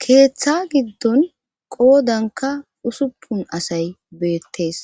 Keeththa giddon qoodanka usuppun asay beettees